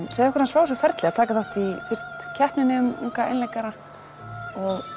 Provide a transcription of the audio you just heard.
frá þessu ferli að taka þátt í fyrst keppninni um unga einleikara og